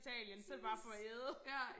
Præcis ja